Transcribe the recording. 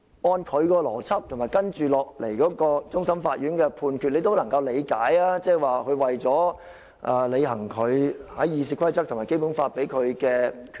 按照他的邏輯，以及接下來終審法院的判決，你也能夠理解這是為了履行《議事規則》和《基本法》賦予他的權力。